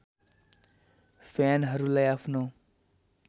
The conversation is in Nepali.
फ्यानहरूलाई आफ्नो